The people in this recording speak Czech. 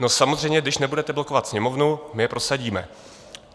No samozřejmě, když nebudete blokovat Sněmovnu, my je prosadíme.